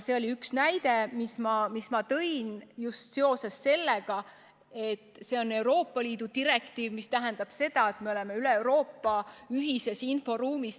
See oli üks näide, mille ma tõin just seoses sellega, et see on Euroopa Liidu direktiiv, mis tähendab seda, et me oleme üle Euroopa ühises inforuumis.